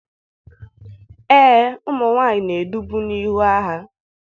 Ee, ụmụ nwanyị na-edubu n'ihu agha